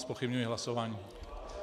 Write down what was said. Zpochybňuji hlasování.